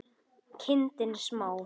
Vala: kindin smá.